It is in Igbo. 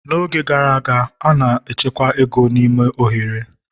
n'oge gara aga, a na-echekwa ego n'ime oghere